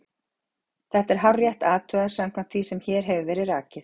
Þetta er hárrétt athugað samkvæmt því sem hér hefur verið rakið.